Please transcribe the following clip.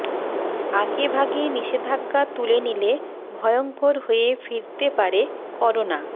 আগেভাগে নিষেধাজ্ঞা তুলে নিলে ভয়ঙ্কর হয়ে ফিরতে পারে করোনা